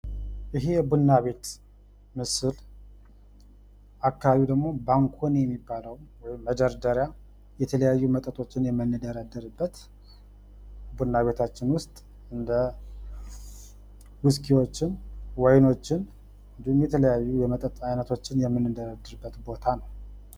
ይሔ የቡና ቤት ምስል፤ አካባቢው ደግሞ ባንኮኒ የሚባለው የተለያዩ መጠጦችን ለመደርደር የምንጠቀምበት ውስኪዎችን ፣ ጅኒዎችን የምንደረድርበት ቦታ ነው።